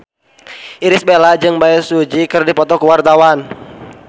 Irish Bella jeung Bae Su Ji keur dipoto ku wartawan